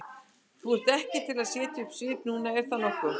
Þú ert ekkert að setja upp svip núna, er það nokkuð?